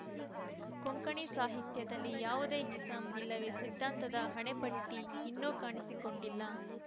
ಕೊಂಕಣಿ ಸಾಹಿತ್ಯದಲ್ಲಿ ಯಾವುದೇ ಇಸಂ ಇಲ್ಲವೇ ಸಿದ್ಧಾಂತದ ಹಣೆಪಟ್ಟಿಇನ್ನೂ ಕಾಣಿಸಿಕೊಂಡಿಲ್ಲ